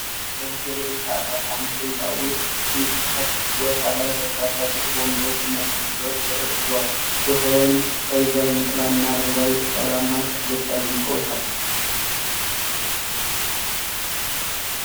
ከሆቴል ወይም ከአፓርትመንት ህንፃ ውጭ ክፍት ቦታ ላይ፣ በርካታ ጥቁር ወንበሮችና ጠረጴዛዎች ተደርድረዋል። ቦታውን ቀይ ጃንጥላና አረንጓዴ ቅጠላማ ተክሎች አድምቀውታል።